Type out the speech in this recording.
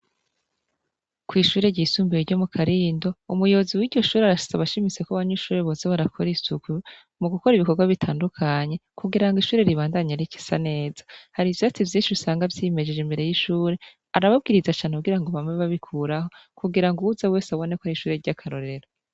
Kw'ishuri ryisumbiwe ryo mu karindo umuyobozi w'iryo shure arashitsa abashimiseko abanyweinshure bose barakora isuku mu gukora ibikorwa bitandukanye kugira ngo ishure ribandanye, ariko isa neza hari ivyo ati vyinshi busanga vyimejije imbere y'ishure arabubwiriza cane kugira ngo bamwe babikuraho kugira ngo uza wese aboneko ari ishuri ry'akarorero.